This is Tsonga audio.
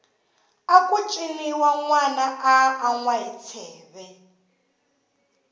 aku ciniwa nwana a anwa hi tsheve